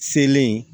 Selen